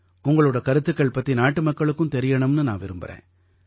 உங்களோட கருத்துக்கள் பத்தி நாட்டுமக்களுக்கும் தெரியணும்னு நான் விரும்பறேன்